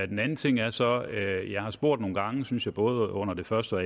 den anden ting er så at jeg har spurgt nogle gange synes jeg både under det første og